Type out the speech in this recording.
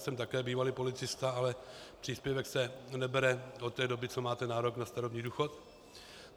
Jsem také bývalý policista, ale příspěvek se nebere od té doby, co máte nárok na starobní důchod.